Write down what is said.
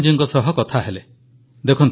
ବର୍ତ୍ତମାନ ଆମେ ପନ୍ ମରିୟପାନାଜୀଙ୍କ ସହ କଥା ହେଲେ